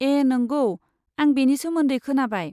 ए नंगौ, आं बेनि सोमोन्दै खोनाबाय।